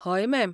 हय, मॅम.